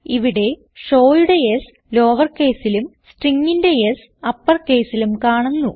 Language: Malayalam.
ഇവിടെ showയുടെ s ലോവർ caseലും stringന്റെ S uppercaseലും കാണുന്നു